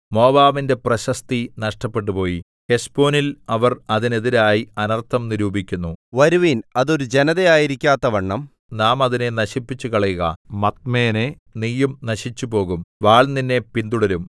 മോവാബിന്റെ പ്രശസ്തി നഷ്ടപ്പെട്ടുപോയി ഹെശ്ബോനിൽ അവർ അതിനെതിരായി അനർത്ഥം നിരൂപിക്കുന്നു വരുവിൻ അത് ഒരു ജനത ആയിരിക്കാത്തവണ്ണം നാം അതിനെ നശിപ്പിച്ചുകളയുക മദ്മേനേ നീയും നശിച്ചുപോകും വാൾ നിന്നെ പിന്തുടരും